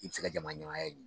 I bɛ se ka jamaɲɛmaaya ɲini